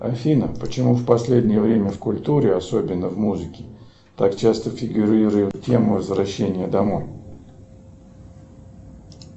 афина почему в последнее время в культуре особенно в музыке так часто фигурирует тема возвращения домой